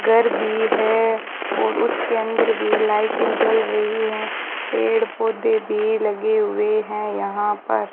घर भी है और उसके अंदर भी लाइटें जल रही है पेड़ पौधे भी लगे हुए है यहां पर --